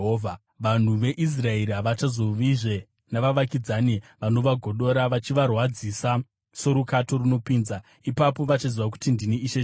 “ ‘Vanhu veIsraeri havachazovizve navavakidzani vanovagodora vachivarwadzisa sorukato runopinza. Ipapo vachaziva kuti ndini Ishe Jehovha.